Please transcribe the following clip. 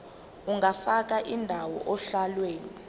ungafaka indawo ohlelweni